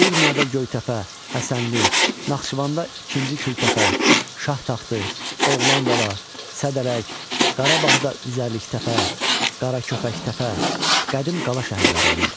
Urmiyada Göytəpə, Həsənli, Naxçıvanda ikinci Kültəpə, Şahtaxtı, Oğlanqala, Sədərək, Qarabağda üzərliktəpə, Qaragöycə Təpə, Qədim qala şəhərlər olmuşlar.